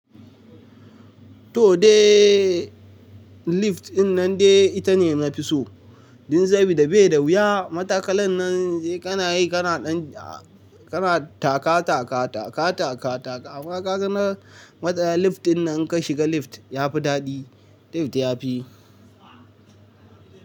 Toh dai lift dinnan dai ita ne nafi so. Domin saboda bashi da wuya. Matakalan nan sai kana yi kana ɗan kana taka taka taka taka taka. Amma ga na matsaya lift dinnan idan ka shiga lift. Yafi daɗi. Lift yafi.